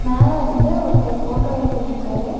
மேல இருந்து ஒருத்தர் ஃபோட்டோ எடுத்துட்ருக்காரு.